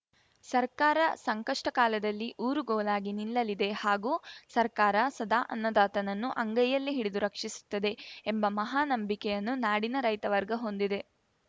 ಸರ್ಕಾರ ಸಂಕಷ್ಟಕಾಲದಲ್ಲಿ ಊರುಗೋಲಾಗಿ ನಿಲ್ಲಲಿದೆ ಹಾಗೂ ಸರ್ಕಾರ ಸದಾ ಅನ್ನದಾತನನ್ನು ಅಂಗೈಯಲ್ಲಿ ಹಿಡಿದು ರಕ್ಷಿಸುತ್ತದೆ ಎಂಬ ಮಹಾ ನಂಬಿಕೆಯನ್ನು ನಾಡಿನ ರೈತವರ್ಗ ಹೊಂದಿದೆ